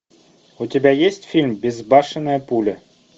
у тебя есть фильм безбашенная пуля